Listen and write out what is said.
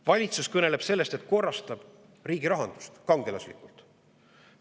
Valitsus kõneleb sellest, et korrastab kangelaslikult riigi rahandust.